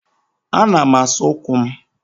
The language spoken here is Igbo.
Ana m asa ụkwụ m.